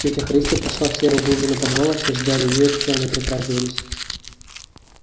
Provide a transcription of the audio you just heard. тётя христя прошла в серую глубину подвала все ждали её и к чаю не притрагивались